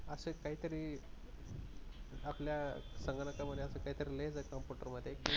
असच काहीतरीआपल्या संगणकामध्येअसं लईच काहितरि लईच आहे computer मध्ये